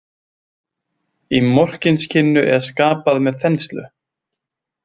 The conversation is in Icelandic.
Í Morkinskinnu er skapað með þenslu.